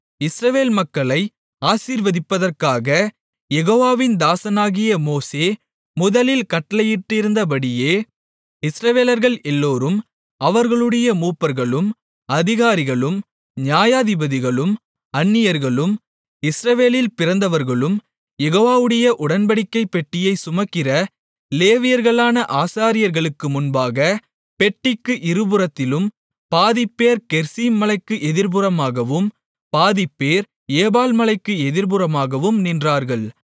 இஸ்ரவேல் மக்களை ஆசீர்வதிப்பதற்காக யெகோவாவின் தாசனாகிய மோசே முதலில் கட்டளையிட்டிருந்தபடியே இஸ்ரவேலர்கள் எல்லோரும் அவர்களுடைய மூப்பர்களும் அதிகாரிகளும் நியாயாதிபதிகளும் அந்நியர்களும் இஸ்ரவேலில் பிறந்தவர்களும் யெகோவாவுடைய உடன்படிக்கைப் பெட்டியைச் சுமக்கிற லேவியர்களான ஆசாரியர்களுக்கு முன்பாக பெட்டிக்கு இருபுறத்திலும் பாதிப்பேர் கெரிசீம் மலைக்கு எதிர்புறமாகவும் பாதிப்பேர் ஏபால் மலைக்கு எதிர்புறமாகவும் நின்றார்கள்